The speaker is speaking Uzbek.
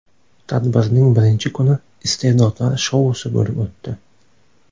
Tadbirning birinchi kuni Iste’dodlar shousi bo‘lib o‘tdi.